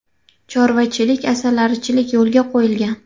Chorvachilik, asalarichilik yo‘lga qo‘yilgan.